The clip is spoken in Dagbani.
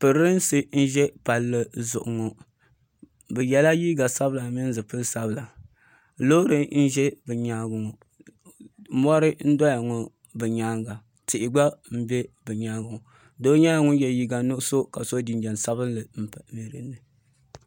Pirinsi n ʒɛ palli zuɣu ŋɔ bɛ yela liiga sabila ni zipil'sabila loori n ʒɛ bɛ nyaanga ŋɔ mori n doya ŋɔ bɛ nyaanga tihi gba m be bɛ nyaanga ŋɔ doo nyɛla ŋun ye liiga nuɣuso ka so jinjiɛm sabinli.